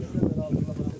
Zəhmət olmasa qabağa.